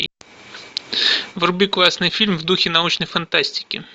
вруби классный фильм в духе научной фантастики